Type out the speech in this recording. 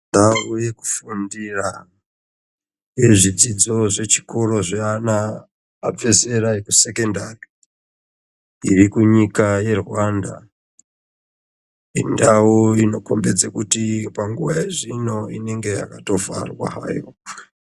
Ndau yekufundira yezvidzidzo zvechikora zvaana abvezera ekusekondari irikunyika yeRwanda indau inokombedze kuti panguwa zvino inenge yakatovharwa hayo.